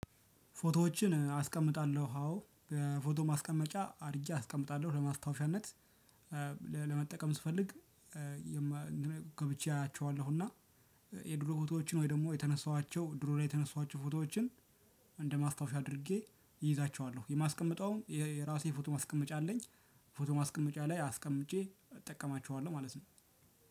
ፎቶዎችን አስቀምጣለሁ አዎ ፎቶ ማስቀመጫ አድርጌ አስቀምጣለሁ ለማስታወሻነት ለመጠቀም ስፈልግ ገብቼ አያቸዋለሁ። እና የድሮ ፎቶዎችን ወይ ደግሞ የተነሳኋቸው ድሮ ላይ የተነሳኋቸው ፎቶዎችን እንደማስታወሻ አድርጌ እይዛቸዋለሁ። የማስቀምጠውም የራሴ ፎቶ ማስቀመጫ አለኝ። ፎቶ ማስቀመጫ ላይ አስቀምጬ እጠቀማቸዋለሁ ማለት ነው።